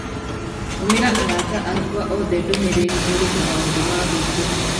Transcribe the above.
tũmĩra arata akwa othe ndũmĩrĩri ĩrĩ na maũndũ ma gwĩkenia